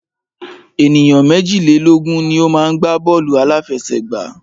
Ènìyàn méjìlélógun ni o má ń gbá bọ́ọ̀lù àláfẹsẹ̀gbá.